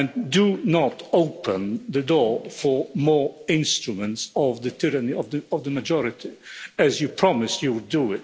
Do not open the door for more instruments of the tyranny of the majority, as you promised you would do.